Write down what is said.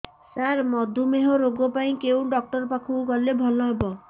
ସାର ମଧୁମେହ ରୋଗ ପାଇଁ କେଉଁ ଡକ୍ଟର ପାଖକୁ ଗଲେ ଭଲ ହେବ